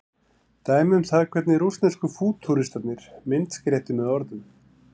dæmi um það hvernig rússnesku fútúristarnir myndskreyttu með orðum